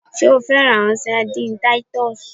Ṣe o fẹran awọn sardines Titus?